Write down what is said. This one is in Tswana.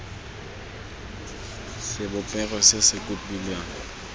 sebopego se se kopiwang sa